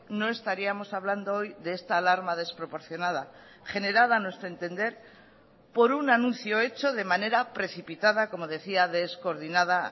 no estaríamos hablando hoy de esta alarma desproporcionada generada a nuestro entender por un anuncio hecho de manera precipitada como decía descoordinada